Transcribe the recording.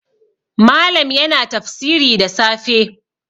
Malam yana tafsiri da safe